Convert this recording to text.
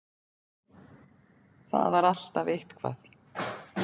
Það var alltaf eitthvað.